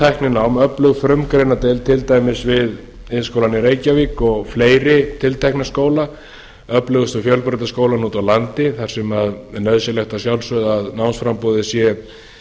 öflugt fjöltækninám öflug frumgreinadeild til dæmis við iðnskólann í reykjavík og fleiri tiltekna skóla öflugustu fjölbrautaskólana úti á landi þar sem er nauðsynlegt að sjálfsögðu að námsframboðið sé